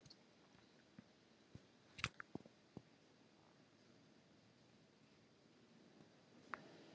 Hjörtur Hjartarson: Þú tekur þetta hlutverk þitt alvarlega?